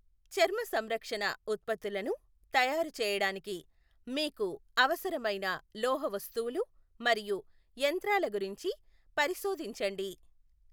చర్మ సంరక్షణ ఉత్పత్తులను తయారు చేయడానికి మీకు అవసరమైన లోహవస్తువులు మరియు యంత్రాల గురించి పరిశోధించండి.